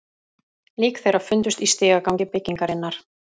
Lík þeirra fundust í stigagangi byggingarinnar